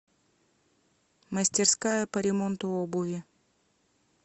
мастерская по ремонту обуви